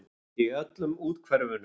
Í öllum úthverfunum.